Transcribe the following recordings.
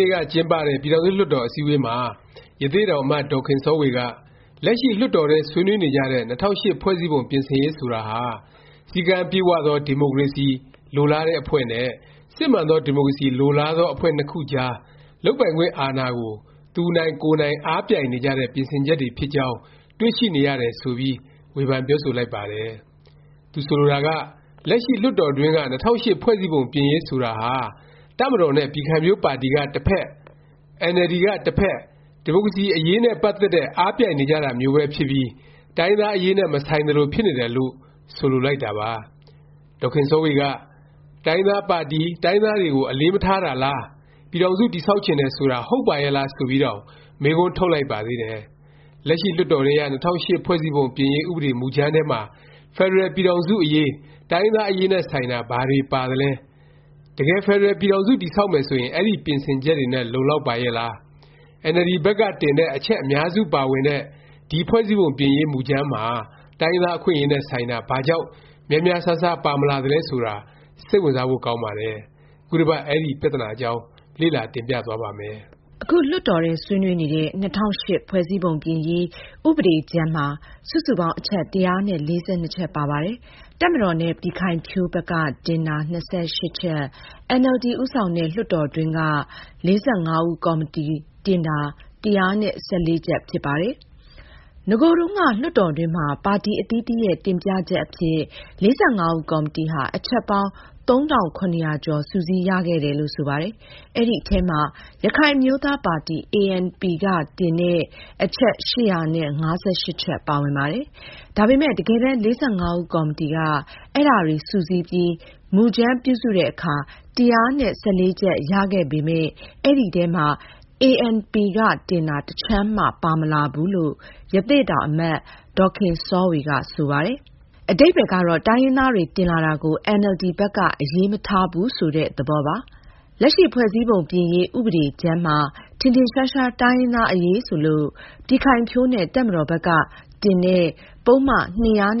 နေ့က ကျင်းပတဲ့ ပြည်ထောင်စု လွှတ်တော် အစည်းအဝေးမှာ ရသေ့တောင် အမတ် ဒေါ်ခင်စောဝေက လက်ရှိ လွှတ်တော်ထဲ ဆွေးနွေးနေကြတဲ့ ၂၀၀၈ ဖွဲ့စည်းပုံ ပြင်ဆင်ရေး ဆိုတာဟာ “စည်းကမ်းပြည့်ဝသော ဒီမိုကရေစီ” လိုလားတဲ့ အဖွဲ့နဲ့ “စစ်မှန်သော ဒီမိုကရေစီ” လိုလားသော အဖွဲ့ နှစ်ခုကြား လုပ်ပိုင်ခွင့်အာဏာကို သူနိုင်ကိုယ်နိုင် အားပြိုင်နေကြတဲ့ ပြင်ဆင်ချက်တွေ ဖြစ်ကြောင်း တွေ့ရှိနေရပါတယ် ဆိုပြီး ဝေဖန်ပြောဆိုလိုက်ပါတယ်။ သူဆိုလိုတာက လက်ရှိ လွှတ်တော်တွင်းက ၂၀၀၈ ဖွဲ့စည်းပုံ ပြင်ရေးဆိုတာဟာ တပ်မတော်နဲ့ ပြည်ခိုင်ဖြိုးပါတီက တဖက်၊ အင်န်အယ်လ်ဒီ က တစ်ဖက် ဒီမိုကရေစီ အရေးနဲ့ ပတ်သက်တဲ့ အားပြိုင်နေကြတာမျိုးပဲ ဖြစ်ပြီး တိုင်းရင်းသားအရေးနဲ့ မဆိုင်သလို ဖြစ်နေတယ်လို့ ဆိုလိုလိုက်တာပါ။ ဒေါ်ခင်စောဝေက “တိုင်းရင်းသားပါတီ၊ တိုင်းရင်းသားတွေကို အလေးမထားတာလား၊ ပြည်ထောင်စု တည်ဆောက်ချင်တယ် ဆိုတာ ဟုတ်ပါရဲ့လား” ဆိုပြီးတောင် မေးခွန်းထုတ်လိုက်ပါသေးတယ်။ လက်ရှိ လွှတ်တော်ထဲက ၂၀၀၈ ဖွဲ့စည်းပုံ ပြင်ရေး ဥပဒေ မူကြမ်းထဲမှာ ဖက်ဒရယ် ပြည်ထောင်စု အရေး၊ တိုင်းရင်းသား အရေးနဲ့ ဆိုင်တာ ဘာတွေ ပါသလဲ၊ တကယ် ဖက်ဒရယ် ပြည်ထောင်စု တည်ဆောက်မယ် ဆိုရင် အဲဒီ ပြင်ဆင်ချက်တွေနဲ့ လုံလောက်ပါရဲ့လား၊ အင်န်အယ်လ်ဒီ ဘက်က တင်တဲ့ အချက် အများစုပါဝင်တဲ့ ဒီ ဖွဲ့စည်းပုံပြင်ရေး မူကြမ်းမှာ တိုင်းရင်းသား အခွင့်အရေးနဲ့ ဆိုင်တာ ဘာကြောင့် များများစားစား ပါမလာသလဲ ဆိုတာ စိတ်ဝင်စားဖို့ ကောင်းပါတယ်။ ခုတစ်ပတ် အဲဒီ ပြသနာအကြောင်း လေ့လာ တင်ပြသွားပါ့မယ်။ အခု လွှတ်တော်ထဲ ဆွေးနွေးနေတဲ့ ၂၀၀၈ ဖွဲ့စည်းပုံ ပြင်ရေး ဥပဒေကြမ်းမှာ စုစုပေါင်း အချက် ၁၄၂ ချက်ပါပါတယ်။ တပ်မတော်နဲ့ ပြည်ခိုင်ဖြိုးဘက်က တင်တာ ၂၈ ချက်၊ အင်န်အယ်လ်ဒီ ဦးဆောင်တဲ့ လွှတ်တော်တွင်းက ၄၅ ဦးကော်မတီက တင်တာ ၁၁၄ ချက်ဖြစ်ပါတယ်။ နဂိုတုန်းက လွှတ်တော်တွင်းမှာ ပါတီ အသီးသီးရဲ့ တင်ပြချက်အဖြစ် ၄၅ ဦးကော်မတီဟာ အချက်ပေါင်း ၃၇၀၀ ကျော် စုစည်းရခဲ့တယ်လို့ ဆိုပါတယ်။ အဲဒီအထဲမှာ ရခိုင်အမျိုးသားပါတီ ANP က တင်တဲ့ အချက် ၈၅၈ ချက် ပါဝင်ပါတယ်။ ဒါပေမယ့် တကယ်တမ်း ၄၅ ဦးကော်မတီက အဲဒါတွေ စုစည်းပြီး မူကြမ်း ပြုစုတဲ့အခါ ၁၁၄ ချက်ရခဲ့ပေမယ့် အဲဒီအထဲမှာ ANP က တင်တာ တစ်ချက်မှ ပါမလာဘူးလို့ ရသေ့တောင် အမတ် ဒေါ်ခင်စောဝေက ဆိုပါတယ်။ အဓိပ္ပါယ်ကတော့ တိုင်းရင်းသားတွေ တင်လာတာကို အင်န်အယ်လ်ဒီ ဘက်က အရေးမထားဘူး ဆိုတဲ့ သဘောပါ။ လက်ရှိ ဖွဲ့စည်းပုံပြင်ရေး ဥပဒေကြမ်းမှာ ထင်ထင်ရှားရှား တိုင်းရင်းသား အရေးဆိုလို့ ပြည်ခိုင်ဖြိုးနဲ့ တပ်မတော်ဘက်က တင်တဲ့ ပုဒ်မ ၂၆၁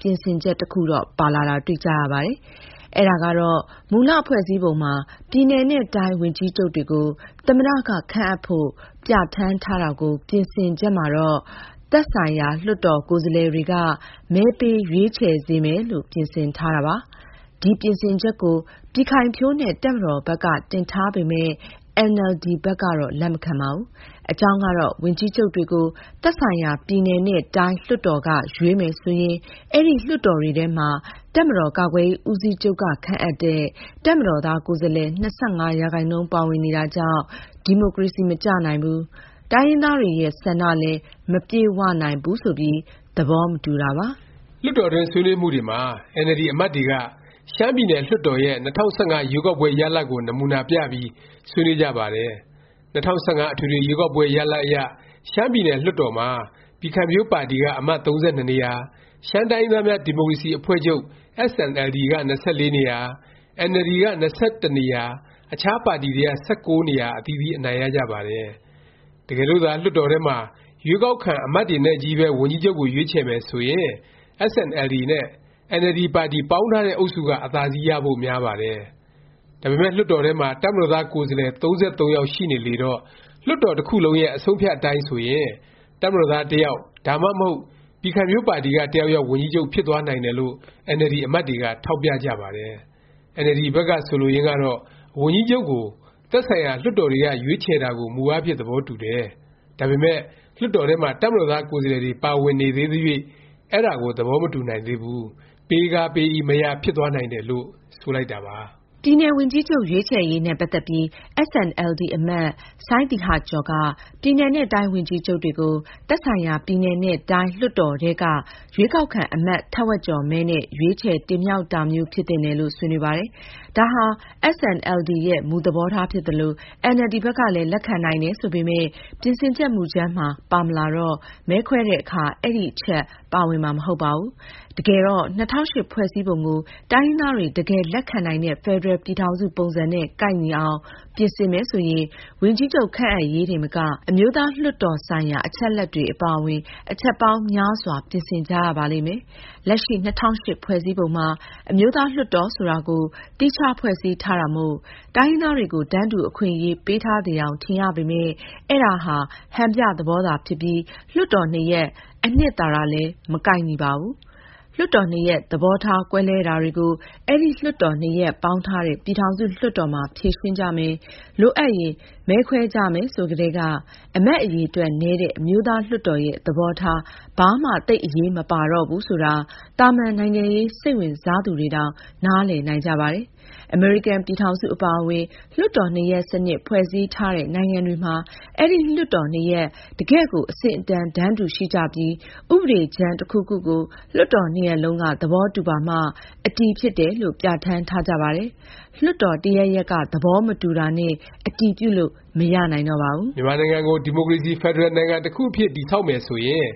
ပြင်ဆင်ချက် တစ်ခုတော့ ပါလာတာ တွေ့ကြရပါတယ်။ အဲဒါကတော့ မူလ ဖွဲ့စည်းပုံမှာ ပြည်နယ်နဲ့ တိုင်း ဝန်ကြီးချုပ်တွေကို သမ္မတ က ခန့်အပ်ဖို့ ပြဌာန်းထားတာကို ပြင်ဆင်ချက်မှာတော့ သက်ဆိုင်ရာ လွှတ်တော် ကိုယ်စားလှယ်တွေက မဲပေး ရွေးချယ်စေမယ်လို့ ပြင်ဆင်ထားတာပါ။ ဒီ ပြင်ဆင်ချက်ကို ပြည်ခိုင်ဖြိုးနဲ့ တပ်မတော်ဘက်က တင်ထားပေမယ့် အင်န်အယ်လ်ဒီဘက်ကတော့ လက်မခံပါဘူး။ အကြောင်းကတော့ ဝန်ကြီးချုပ်တွေကို သက်ဆိုင်ရာ ပြည်နယ်နဲ့ တိုင်း လွှတ်တော်တွေက ရွေးမယ် ဆိုရင် အဲဒီ လွှတ်တော်တွေထဲမှာ တပ်မတော်ကာကွယ်ရေး ဦးစီးချုပ်က ခန့်အပ်တဲ့ တပ်မတော်သား ကိုယ်စားလှယ် ၂၅ ရာခိုင်နှုန်း ပါဝင်နေတာကြောင့် ဒီမိုကရေစီ မကျနိုင်ဘူး၊ တိုင်းရင်းသားတွေရဲ့ ဆန္ဒလည်း မပြည့်ဝနိုင်ဘူး ဆိုပြီး သဘော မတူတာပါ။ လွှတ်တော်တွင်း ဆွေးနွေးမှုတွေမှာ အင်န်အယ်လ်ဒီ အမတ်တွေက ရှမ်းပြည်နယ် လွှတ်တော်ရဲ့ ၂၀၁၅ ရွေးကောက်ပွဲ ရလာဒ်ကို နမူနာပြပြီး ဆွေးနွေးကြပါတယ်။ ၂၀၁၅ အထွေထွေ ရွေးကောက်ပွဲ ရလာဒ်အရ ရှမ်းပြည်နယ် လွှတ်တော်မှာ ပြည်ခိုင်ဖြိုး ပါတီက အမတ် ၃၂ နေရာ၊ ရှမ်းတိုင်းရင်းသားများ ဒီမိုကရေစီ အဖွဲ့ချုပ် SNLD က ၂၄ နေရာ၊ အင်န်အယ်လ်ဒီ က ၂၁ နေရာ၊ အခြားပါတီတွေက ၁၉ နေရာ အသီးသီး အနိုင်ရကြပါတယ်။ တကယ်လို့သာ လွှတ်တော်ထဲမှာ ရွေးကောက်ခံ အမတ်တွေနဲ့ချည်းပဲ ဝန်ကြီးချုပ်ကို ရွေးချယ်မယ် ဆိုရင် SNLD နဲ့ အင်န်အယ်လ်ဒီပါတီ ပေါင်းထားတဲ့ အုပ်စုက အသာစီး ရဖို့ များပါတယ်။ ဒါပေမယ့် လွှတ်တော်ထဲမှာ တပ်မတော်သား ကိုယ်စားလှယ် ၃၃ ယောက် ရှိနေလေတော့ လွှတ်တော်တစ်ခုလုံးရဲ့ အဆုံးအဖြတ် အတိုင်းဆိုရင် တပ်မတော်သား တစ်ယောက် ဒါမှမဟုတ် ပြည်ခိုင်ဖြိုးပါတီက တစ်ယောက်ယောက် ဝန်ကြီးချုပ် ဖြစ်သွားနိုင်တယ်လို့ အင်န်အယ်လ်ဒီ အမတ်တွေက ထောက်ပြကြပါတယ်။ အင်န်အယ်လ်ဒီ ဘက်က ဆိုလိုရင်းကတော့ ဝန်ကြီးချုပ်ကို သက်ဆိုင်ရာ လွှတ်တော်တွေက ရွေးချယ်တာကို မူအားဖြင့် သဘောတူတယ်၊ ဒါပေမယ့် လွှတ်တော်ထဲမှာ တပ်မတော်သား ကိုယ်စားလှယ်တွေ ပါဝင်နေသေးသ၍ အဲဒါကို သဘောမတူနိုင်သေးဘူး၊ “ ပေးကားပေး၏ မရ ဖြစ်သွားနိုင်တယ်”လို့ ဆိုလိုက်တာပါ။ ပြည်နယ် ဝန်ကြီးချုပ် ရွေးချယ်ရေးနဲ့ ပတ်သက်ပြီး SNLD အမတ် စိုင်းသီဟကျော်က ပြည်နယ်နဲ့ တိုင်း ဝန်ကြီးချုပ်တွေကို သက်ဆိုင်ရာ ပြည်နယ်နဲ့ တိုင်း လွှတ်တော်တွေထဲက ရွေးကောက်ခံ အမတ် ထက်ဝက်ကျော်မဲနဲ့ ရွေးချယ်တင်မြှောက်တာမျိုး ဖြစ်သင့်တယ်လို့ ဆွေးနွေးပါတယ်။ ဒါဟာ SNLD ရဲ့ မူသဘောထား ဖြစ်သလို၊ အင်န်အယ်လ်ဒီ ဘက်ကလည်း လက်ခံနိုင်တယ် ဆိုပေမယ့် ပြင်ဆင်ချက် မူကြမ်းမှာ ပါမလာတော့ မဲခွဲတဲ့အခါ အဲဒီအချက် ပါဝင်မှာ မဟုတ်ပါဘူး။ တကယ်တော့ ၂၀၀၈ ဖွဲ့စည်းပုံကို တိုင်းရင်းသားတွေ တကယ် လက်ခံနိုင်တဲ့ ဖက်ဒရယ် ပြည်ထောင်စု ပုံစံနဲ့ ကိုက်ညီအောင် ပြင်ဆင်မယ်ဆိုရင် ဝန်ကြီးချုပ် ခန့်အပ်ရေးတင်မက အမျိုးသားလွှတ်တော် ဆိုင်ရာ အချက်အလက်တွေ အပါအဝင် အချက်ပေါင်း များစွာ ပြင်ကြရပါလိမ့်မယ်။ လက်ရှိ ၂၀၀၈ ဖွဲ့စည်းပုံမှာ အမျိုးသား လွှတ်တော် ဆိုတာကို သီးခြား ဖွဲ့စည်းထားတာမို့ တိုင်းရင်းသားတွေကို တန်းတူအခွင့်အရေး ပေးထားသယောင် ထင်ရပေမယ့် အဲဒါဟာ ဟန်ပြ သဘောသာသာ ဖြစ်ပြီး လွှတ်တော်နှစ်ရပ် အနှစ်သာရနဲ့လည်း မကိုက်ညီပါဘူး။ လွှတ်တော် နှစ်ရပ် သဘောထားကွဲလွဲတာတွေကို အဲဒီ လွှတ်တော် နှစ်ရပ် ပေါင်းထားတဲ့ ပြည်ထောင်စု လွှတ်တော်မှာ ဖြေရှင်းကြမယ်၊ လိုအပ်ရင် မဲခွဲကြမယ် ဆိုကတည်းက အမတ် အရေအတွက် နည်းတဲ့ အမျိုးသားလွှတ်တော်ရဲ့ သဘောထား ဘာမှ သိပ် အရေးမပါတော့ဘူး ဆိုတာ သာမန် နိုင်ငံရေး စိတ်ဝင်စားသူတွေတောင် နားလည်နိုင်ကြပါတယ်။ အမေရိကန် ပြည်ထောင်စု အပါအဝင် လွှတ်တော်နှစ်ရပ် စနစ် ဖွဲ့စည်းထားတဲ့ နိုင်ငံတွေမှာ အဲဒီ လွှတ်တော်နှစ်ရပ် တကယ့်ကို အဆင့်အတန်း တန်းတူ ရှိကြပြီး ဥပဒေကြမ်း တစ်ခုခုကို လွှတ်တော် နှစ်ရပ်လုံးက သဘောတူပါမှ အတည်ဖြစ်တယ်လို့ ပြဌာန်းထားကြပါတယ်။ လွှတ်တော် တစ်ရပ်ရပ်က သဘောမတူတာနဲ့ အတည်ပြုလို့ မရနိုင်တော့ပါဘူး။ မြန်မာနိုင်ငံကို ဒီမိုကရေစီ ဖက်ဒရယ် နိုင်ငံတစ်ခုအဖြစ် တည်ဆောက်မယ် ဆိုရင်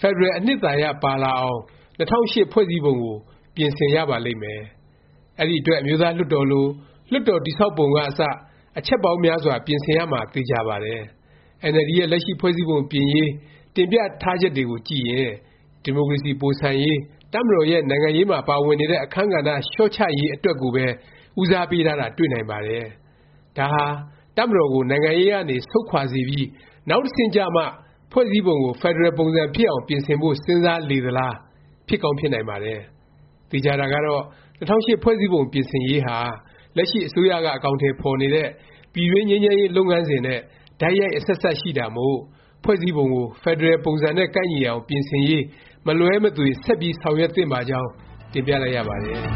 ဖက်ဒရယ်အနှစ်သာရ ပါလာအောင် ၂၀၀၈ ဖွဲ့စည်းပုံကို ပြင်ဆင်ရပါလိမ့်မယ်။ အဲဒီအတွက် အမျိုးသားလွှတ်တော်လို လွှတ်တော်တည်ဆောက်ပုံကအစ အချက်ပေါင်းများစွာ ပြင်ဆင်ရမှာ သေခြာပါတယ်။ အင်န်အယ်လ်ဒီရဲ့ လက်ရှိ ဖွဲ့စည်းပုံပြင်ရေး တင်ပြထားချက်တွေကိုကြည့်ရင် ဒီမိုကရေစီ ပိုဆန်ရေး၊ တပ်မတော်ရဲ့ နိုင်ငံရေးမှာ ပါဝင်နေတဲ့ အခန်းကဏ္ဍ လျော့ချရေး အတွက်ကိုပဲ ဦးစားပေးထားတာ တွေ့နိုင်ပါတယ်။ ဒါဟာ တပ်မတော်ကို နိုင်ငံရေးကနေ ဆုတ်ခွာစေပြီး နောက်တဆင့်ကျမှ ဖွဲ့စည်းပုံကို ဖက်ဒရယ်ပုံစံ ဖြစ်အောင် ပြင်ဆင်ဖို့ စဉ်းစားလေသလား၊ ဖြစ်ကောင်း ဖြစ်နိုင်ပါတယ်။ သေခြာတာကတော့ ၂၀၀၈ ဖွဲ့စည်းပုံ ပြင်ဆင်ရေးဟာ လက်ရှိ အစိုးရက အကောင်အထည် ဖော်နေတဲ့ ပြည်တွင်းငြိမ်းချမ်းရေး လုပ်ငန်းစဉ်နဲ့ တိုက်ရိုက် အဆက်အစပ်ရှိနေတာမို့ ဖွဲ့စည်းပုံကို ဖက်ဒရယ်ပုံစံနဲ့ ကိုက်ညီအောင် ပြင်ဆင်ရေး မလွဲမသွေ ဆက်ပြီး ဆောင်ရွက်သင့်ပါကြောင်း တင်ပြလိုက်ရပါတယ်။